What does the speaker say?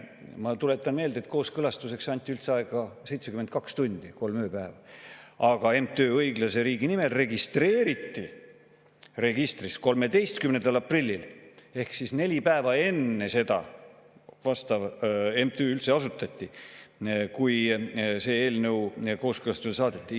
Ma tuletan meelde, et kooskõlastuseks anti üldse aega 72 tundi, kolm ööpäeva, aga MTÜ Õiglase Riigi Nimel registreeriti registris 13. aprillil ehk neli päeva enne seda, kui see eelnõu kooskõlastusele saadeti, vastav MTÜ üldse asutati.